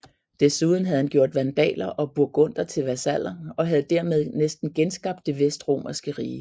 Desuden havde han gjort vandaler og burgunder til vasaller og havde dermed næsten genskabt det vestromerske rige